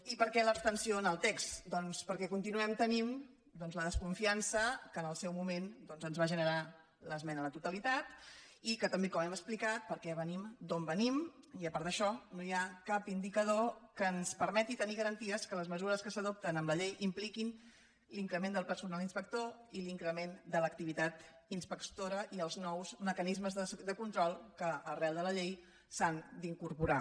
i per què l’abstenció en el text doncs perquè continuem tenint la desconfiança que en el seu moment ens va generar l’esmena a la totalitat i també com hem explicat perquè venim d’on venim i a part d’això no hi ha cap indicador que ens permeti tenir garanties que les mesures que s’adopten en la llei impliquin l’increment del personal inspector i l’increment de l’activitat inspectora i els nous mecanismes de control que arran de la llei s’han d’incorporar